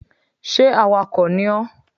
Sé awakò ni ó?